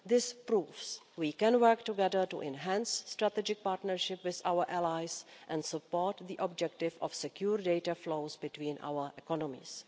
This proves we can work together to enhance strategic partnership with our allies and support the objective of secure data flows between our economies.